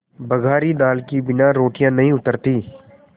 बघारी दाल के बिना रोटियाँ नहीं उतरतीं